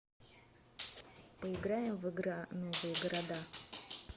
поиграем в игра новые города